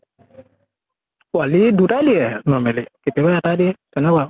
পোৱালী দুটাই দিয়ে normally কেতিয়াবা এটা দিয়ে তেনেকুৱা আউ।